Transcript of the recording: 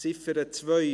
Ziffer 2: